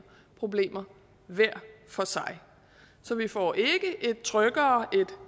problemer hver for sig så vi får ikke et tryggere et